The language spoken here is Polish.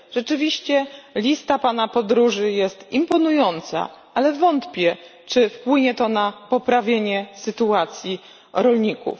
Rzeczywiście lista Pana podróży jest imponująca, ale wątpię czy wpłynie to na poprawienie sytuacji rolników.